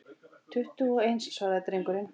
Tuttugu og eins, svaraði drengurinn.